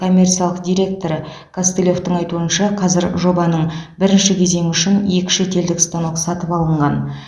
коммерциялық директоры костылевтің айтуынша қазір жобаның бірінші кезеңі үшін екі шетелдік станок сатып алынған